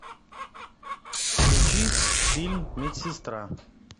включи фильм медсестра